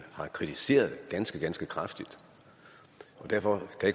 har kritiseret ganske ganske kraftigt derfor kan